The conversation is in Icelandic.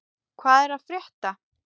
Hvað er að frétta?